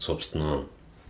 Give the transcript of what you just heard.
собственно